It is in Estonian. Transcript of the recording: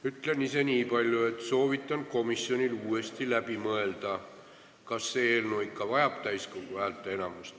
Ütlen ise nii palju, et soovitan komisjonil uuesti läbi mõelda, kas see eelnõu ikka vajab täiskogu häälteenamust.